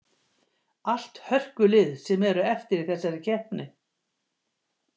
Allt hörkulið sem eru eftir í þessari keppni.